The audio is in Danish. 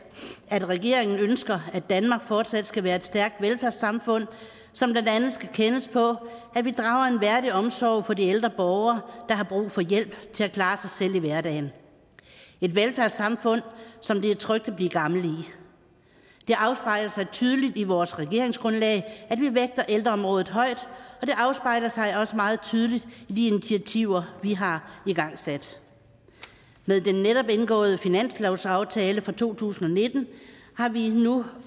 at regeringen ønsker at danmark fortsat skal være et stærkt velfærdssamfund som blandt andet skal kendes på at vi drager en værdig omsorg for de ældre borgere der har brug for hjælp til at klare sig selv i hverdagen et velfærdssamfund som det er trygt at blive gammel i det afspejler sig tydeligt i vores regeringsgrundlag at vi vægter ældreområdet højt og det afspejler sig også meget tydeligt i de initiativer vi har igangsat med den netop indgåede finanslovsaftale for to tusind og nitten har vi nu